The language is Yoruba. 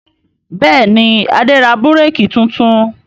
Bẹ́ẹ̀ ni, Adé ra búrékì tuntun.